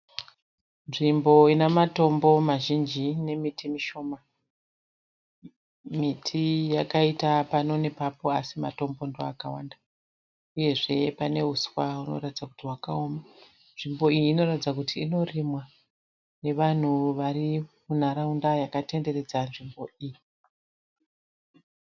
Nzvimbo ine matombo mazhinji nemiti mishoma. Miti yakaita pano nepapo asi miti ndoyakawanda uyezve paneuswa hunoratidza kuti hwakaoma .Nzvimbo iyi inoratidza kuti inorimwa nevanhu vari munharaunda vakatenderedza nzvimbo iyi.